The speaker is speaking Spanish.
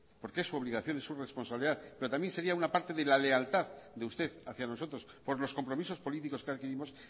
porque es su obligación es su responsabilidad pero también sería una parte de la lealtad de usted hacia nosotros por los compromisos políticos que adquirimos